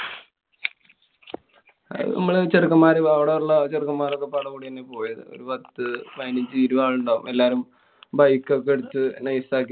മ്മള് ചെറുക്കന്മാര് അവടെയുള്ള ചെറുക്കന്മാര് ഒക്കെ കൂട്യന്നാ പോയത്. ഒരു പത്തു പതിനഞ്ചു ഇരുപതു ആളുണ്ടാവും എല്ലാരും. bike ഒക്കെ എടുത്ത് nice ആക്കി.